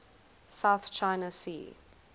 south china sea